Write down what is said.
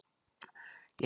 Ég held að hann sé.